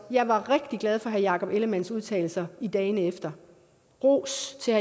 jeg var rigtig glad for herre jakob ellemann udtalelser dagen efter og ros til